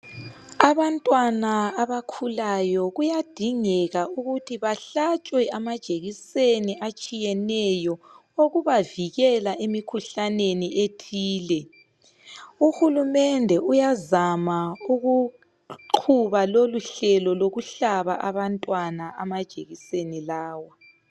Abantwana abakhulayo kuyadingeka ukuthi bahlatshwe amajekiseni atshiyeneyo okubavikela emikhuhlaneni ethile. Uhulumende uyazama ukuqhuba loluhlelo lokuhlaba abantwana amajekiseni lawa.